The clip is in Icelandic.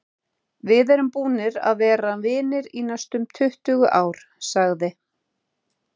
Við erum búnir að vera vinir í næstum tuttugu ár, sagði